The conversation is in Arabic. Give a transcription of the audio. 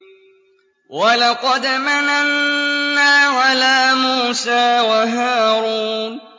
وَلَقَدْ مَنَنَّا عَلَىٰ مُوسَىٰ وَهَارُونَ